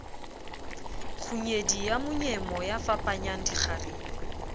kgunyedi ya monyemo yafapanyang dikgarebe